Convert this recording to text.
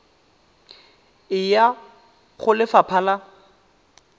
e ya go lefapha la